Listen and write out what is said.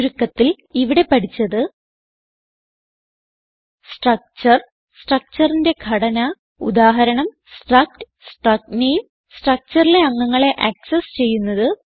ചുരുക്കത്തിൽ ഇവിടെ പഠിച്ചത് സ്ട്രക്ചർ Structureന്റെ ഘടന ഉദാഹരണം സ്ട്രക്ട് struct name structureലെ അംഗങ്ങളെ ആക്സസ് ചെയ്യുന്നത്